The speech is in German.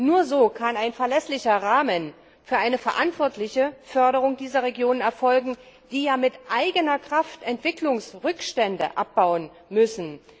Nur so kann ein verlässlicher Rahmen für eine verantwortliche Förderung dieser Regionen erfolgen, die ja mit eigener Kraft Entwicklungsrückstände abbauen müssen.